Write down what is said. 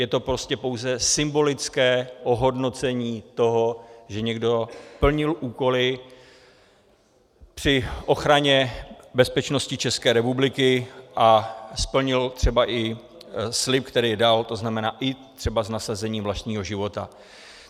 Je to prostě pouze symbolické ohodnocení toho, že někdo plnil úkoly při ochraně bezpečnosti České republiky a splnil třeba i slib, který dal, to znamená i třeba s nasazením vlastního života.